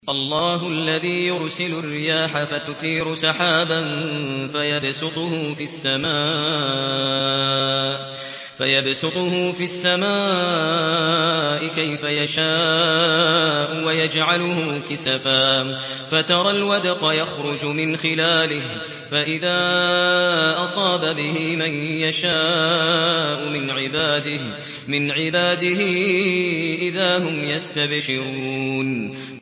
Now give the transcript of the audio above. اللَّهُ الَّذِي يُرْسِلُ الرِّيَاحَ فَتُثِيرُ سَحَابًا فَيَبْسُطُهُ فِي السَّمَاءِ كَيْفَ يَشَاءُ وَيَجْعَلُهُ كِسَفًا فَتَرَى الْوَدْقَ يَخْرُجُ مِنْ خِلَالِهِ ۖ فَإِذَا أَصَابَ بِهِ مَن يَشَاءُ مِنْ عِبَادِهِ إِذَا هُمْ يَسْتَبْشِرُونَ